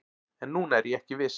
En núna er ég ekki viss